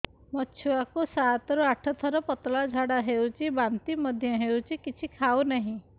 ମୋ ଛୁଆ କୁ ସାତ ରୁ ଆଠ ଥର ପତଳା ଝାଡା ହେଉଛି ବାନ୍ତି ମଧ୍ୟ୍ୟ ହେଉଛି କିଛି ଖାଉ ନାହିଁ